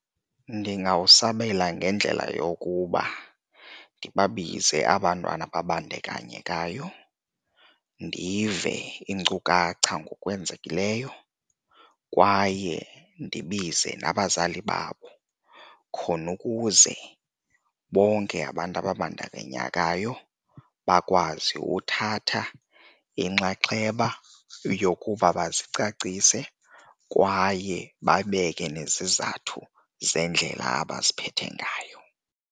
Ndingawusabela ngendlela yokuba ndibabize aba 'ntwana babandakanyekayo ndive iinkcukacha ngokwenzekileyo kwaye ndibize nabazali babo khona ukuze bonke abantu ababandakanyekayo bakwazi uthatha inxaxheba yokuba bazicacise kwaye babeke nezizathu zeendlela abaziphethe ngayo.